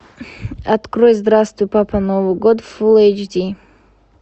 открой здравствуй папа новый год фул эйч ди